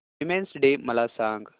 women's day मला सांग